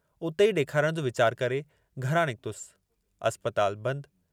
उते ई ॾेखारण जो वीचार करे, घरां निकतुसि, अस्पताल बंदि।